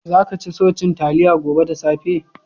Za ka ci so cin talliya gobe da saffe?